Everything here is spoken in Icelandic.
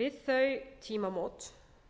við þau tímamót